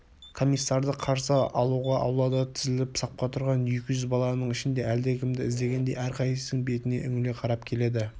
комиссарды қарсы алуға аулада тізіліп сапқа тұрған екі жүз баланың ішінен әлдекімді іздегендей әрқайсысының бетіне үңіле қарап келеді